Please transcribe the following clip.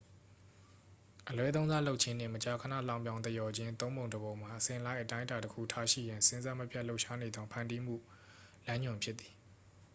"""အလွဲသုံးစားလုပ်ခြင်းနှင့်မကြာခဏလှောင်ပြောင်သရော်ခြင်းသုံးပုံတစ်ပုံမှာအစဉ်လိုက်အတိုင်းအတာတစ်ခုထားရှိရန်စဉ်ဆက်မပြတ်လှုပ်ရှားနေသောဖန်တီးမှုလမ်းညွှန်ဖြစ်သည်။""